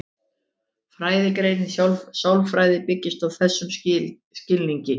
Fræðigreinin sálfræði byggist á þessum skilningi.